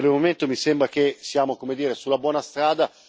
Per il momento mi sembra che siamo, come dire, sulla buona strada.